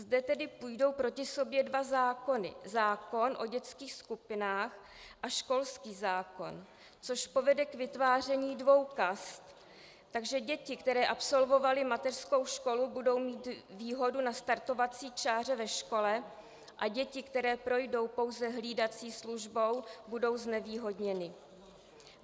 Zde tedy půjdou proti sobě dva zákony - zákon o dětských skupinách a školský zákon, což povede k vytváření dvou kast, takže děti, které absolvovaly mateřskou školu, budou mít výhodu na startovací čáře ve škole a děti, které projdou pouze hlídací službou, budou znevýhodněny.